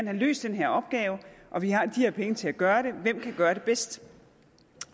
have løst den her opgave og vi har de her penge til at gøre det for hvem kan gøre det bedst